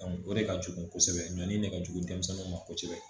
o de ka jugu kosɛbɛ ɲɔni ne ka jugu denmisɛnninw ma kosɛbɛ